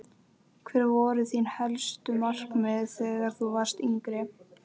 Hver voru þín helstu markmið þegar þú varst yngri?